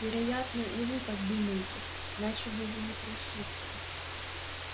вероятно и вы так думаете иначе бы вы не пришли к нам